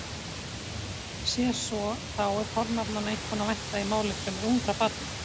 Sé svo þá er fornafnanna einkum að vænta í máli fremur ungra barna.